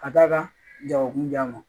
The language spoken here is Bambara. Ka da kan ja jago kunjan ma